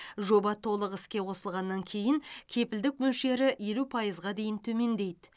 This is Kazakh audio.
жоба толық іске қосылғаннан кейін кепілдік мөлшері елу пайызға дейін төмендейді